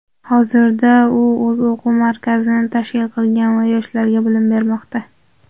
Hozirda u o‘z o‘quv markazini tashkil qilgan va yoshlarga bilim bermoqda.